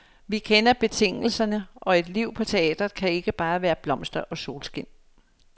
Vi kender betingelserne, og et liv på teatret kan ikke bare være blomster og solskin.